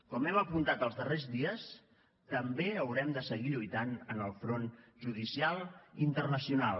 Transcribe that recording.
com hem apuntat els darrers dies també haurem de seguir lluitant en el front judicial internacional